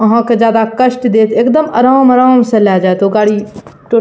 अहां के ज्यादा कष्ट देत एकदम आराम-आराम से ले जाएत ओ गाड़ी टो --